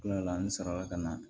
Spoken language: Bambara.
Kilala ni sɔrɔ ka na